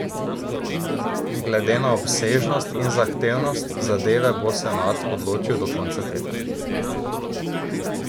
Glede na obsežnost in zahtevnost zadeve bo senat odločil do konca tega tedna.